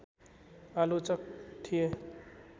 आलोचक थिए